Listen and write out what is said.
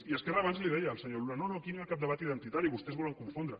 i esquerra abans li deia al senyor luna no no aquí no hi ha cap debat identitari vostès volen confondre